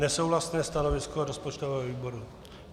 Nesouhlasné stanovisko rozpočtového výboru.